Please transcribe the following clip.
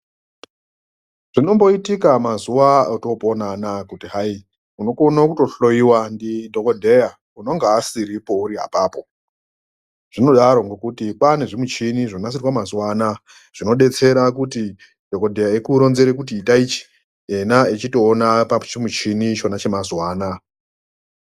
Zvinomboitika mazuva otoponana kuti hayi, unokona kutohloyiwa ndidhokodheya unonga asiripo uri apapo. Zvinodaro ngokuti kwanezvimishini zvinoshandiswa mazuwanaya zvinobetsera kuti dhokodheya ekuronzere kuti ita ichi, yena echitowona pachimuchini chona chemazuvana.